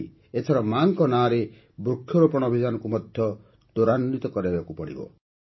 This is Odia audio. ସେହିଭଳି ଏଥର ମା'ଙ୍କ ନାମରେ ବୃକ୍ଷରୋପଣ ଅଭିଯାନକୁ ମଧ୍ୟ ତ୍ୱରାନ୍ୱିତ କରାବାକୁ ହେବ